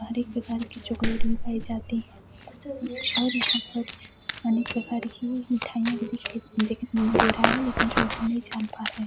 हर एक प्रकार की चॉकलेट भी पाई जाती हे और यहाँ पर अनेक प्रकार की मिठाईया भी दिखाई दिख दे रहा हे लेकिन जो हम नहीं जान पा रहे है।